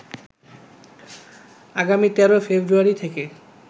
আগামী ১৩ ফেব্রুয়ারি থেকে